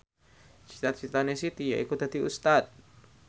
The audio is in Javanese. cita citane Siti yaiku dadi Ustad